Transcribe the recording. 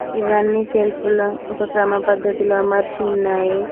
ఇవన్నీ సెల్ఫ్ లో ఒక క్రమ పద్ధతిలో అమర్చి ఉన్నాయి.